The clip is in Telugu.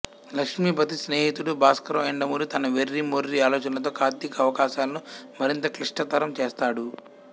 లక్ష్మీపతి స్నేహితుడు భాస్కరం యండమూరి తన వెర్రి మొర్రి ఆలోచనలతో కార్తిక్ అవకాశాలను మరింత క్లిష్టతరం చేస్తాడు